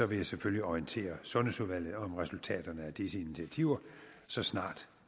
vil jeg selvfølgelig orientere sundhedsudvalget om resultaterne af disse initiativer så snart